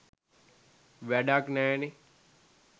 වැඩක් නෑනෙ.